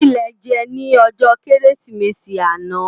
Ki lè jè ni òjò Kérésimési àná